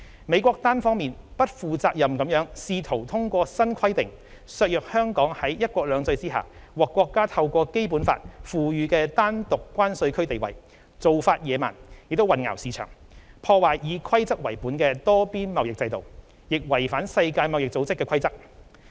美國單方面、不負責任地試圖通過新規定削弱香港在"一國兩制"下獲國家透過《基本法》賦予的單獨關稅區地位，做法野蠻，亦混淆市場，破壞以規則為本的多邊貿易制度，亦違反世界貿易組織規則。